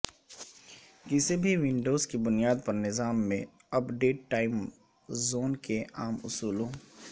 کسی بھی ونڈوز کی بنیاد پر نظام میں اپ ڈیٹ ٹائم زون کے عام اصولوں